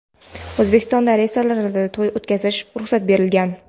O‘zbekistonda restoranlarda to‘y o‘tkazishga ruxsat berilgan.